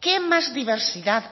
qué más diversidad